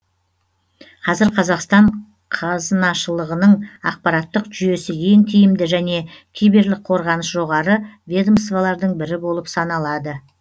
қазір қазақстан қазынашылығының ақпараттық жүйесі ең тиімді және киберлік қорғаныс жоғары ведомстволардың бірі болып саналады